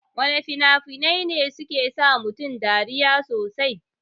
Wana fina-finai ne suke sa mutane dariya sosai?